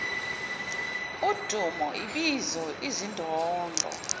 udumo ibizo izindondo